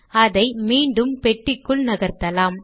அதை மீண்டும் பெட்டிக்குள் நகர்த்தலாம்